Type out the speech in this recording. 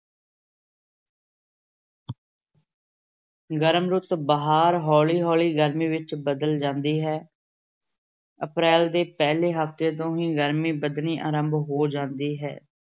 ਗਰਮ ਰੁੱਤ ਬਹਾਰ ਹੌਲੀ-ਹੌਲੀ ਗਰਮੀ ਵਿਚ ਬਦਲ ਜਾਂਦੀ ਹੈ ਅਪਰੈਲ ਦੇ ਪਹਿਲੇ ਹਫ਼ਤੇ ਤੋਂ ਹੀ ਗ਼ਰਮੀ ਵਧਣੀ ਆਰੰਭ ਹੋ ਜਾਂਦੀ ਹੈ।